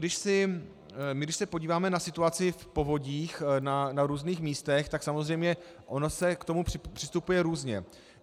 Když se podíváme na situaci v povodích na různých místech, tak samozřejmě ono se k tomu přistupuje různě.